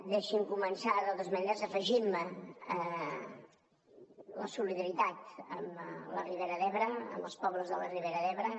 deixi’m començar de totes maneres afegint me a la solidaritat amb la ribera d’ebre amb els pobles de la ribera d’ebre